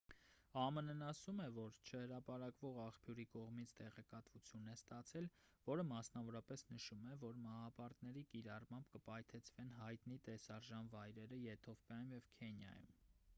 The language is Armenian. ամն-ն ասում է որ չհրապարակվող աղբյուրի կողմից տեղեկատվություն է ստացել որը մասնավորապես նշում է որ մահապարտների կիրառմամբ կպայթեցվեն հայտնի տեսարժան վայրերը եթովպիայում և քենիայում